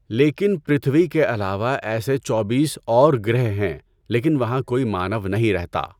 لیکن پرتھوی کے علاوہ ایسے چوبیس اور گَرہ ہیں لیکن وہاں کوئی مانو نہیں رہتا۔